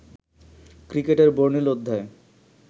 ক্রিকেটের বর্ণিল অধ্যায়